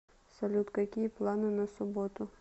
салют какие планы на субботу